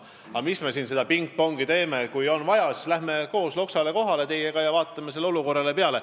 Aga mis me siin seda pingpongi ikka teeme – kui on vaja, siis läheme teiega koos Loksale kohale ja vaatame sellele olukorrale peale.